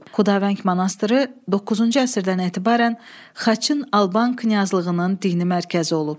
Xudavəng monastırı 9-cu əsrdən etibarən xaçın Alban knyazlığının dini mərkəzi olub.